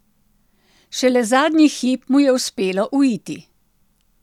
Šele zadnji hip mu je uspelo uiti.